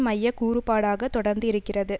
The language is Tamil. மைய கூறுபாடாக தொடர்ந்து இருக்கிறது